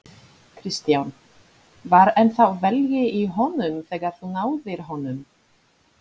Kristján: Var ennþá velgi í honum þegar þú náðir honum?